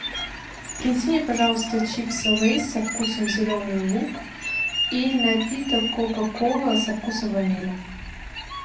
принеси мне пожалуйста чипсы лейс со вкусом зеленый лук и напиток кока кола со вкусом ванили